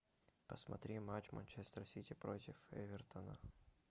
посмотри матч манчестер сити против эвертона